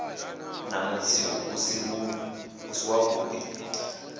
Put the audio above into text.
na mutsiko u si wavhuḓi